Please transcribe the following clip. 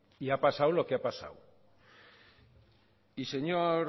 y ha pasado lo que ha pasado señor